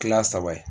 Kila saba ye